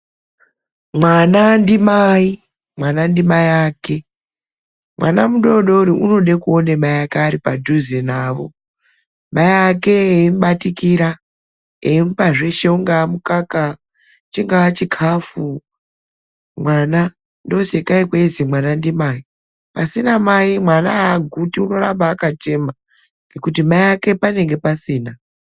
Mwana ndimai, mwana ndimai ake. Mwana mudodori unode kuone mai ake ari padhuze navo, mai ake eimubatikira, eimupa zveshe, ungave mukaka, chingava chikafu. Mwana, ndosakei kweinzi mwana ndimai. Pasina mai mwana haaguti, unoramba akachema ngekuti mai vlake panenge pasina.